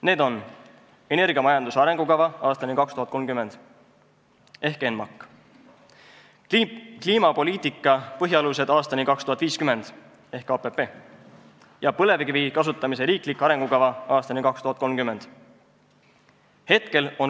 Need on: "Energiamajanduse arengukava aastani 2030" ehk ENMAK, "Kliimapoliitika põhialused aastani 2050" ehk KPP ja "Põlevkivi kasutamise riiklik arengukava 2016–2030".